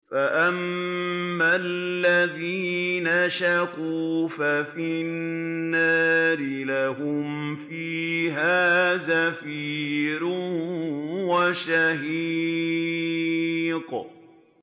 فَأَمَّا الَّذِينَ شَقُوا فَفِي النَّارِ لَهُمْ فِيهَا زَفِيرٌ وَشَهِيقٌ